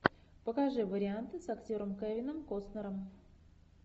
покажи варианты с актером кевином костнером